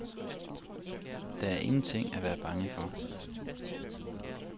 Der er ingenting at være bange for.